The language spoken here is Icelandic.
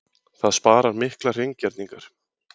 Það sparar miklar hreingerningar.